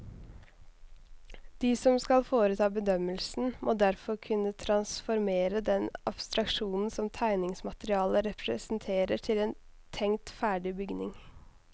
De som skal foreta bedømmelsen, må derfor kunne transformere den abstraksjonen som tegningsmaterialet representerer til en tenkt ferdig bygning.